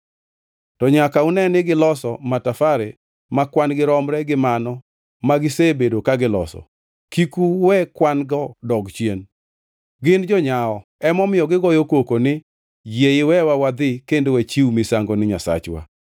To nyaka une ni giloso matafare ma kwan-gi romre gi mano ma gisebedo ka giloso, kik uwe kwan-go dog chien. Gin jonyawo, emomiyo gigoyo koko ni, ‘Yie iwewa wadhi kendo wachiw misango ni Nyasachwa.’